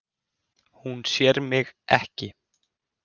Hún sér mig ekki.